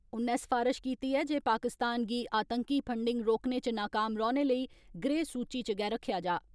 उन्नै सफरारश कीती ऐ जे पाकिस्तान गी आतंकी फंडिंग रोकने च नाकाम रौहने लेई ग्रे सूचि च गै रक्खेआ जा।